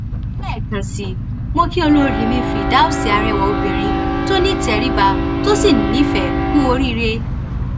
lẹẹkan sí i mọ kí olórí mi firdaus arẹwà obìnrin tó nítẹríba tó sì nífẹẹ ku oríire